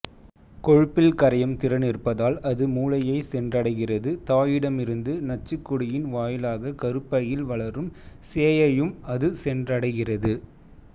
கொழுப்பில் கரையும் திறன் இருப்பதால் அது மூளையைச் சென்றடைகிறது தாயிடமிருந்து நச்சுக்கொடியின் வாயிலாக கருப்பையில் வளரும் சேயையும் அது சென்றடைகிறது